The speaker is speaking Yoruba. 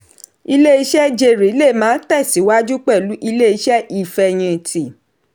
ilé-iṣẹ́ jèrè lè máa tẹ̀síwájú pẹ̀lú ilé-iṣẹ́ ìfẹ̀yinti.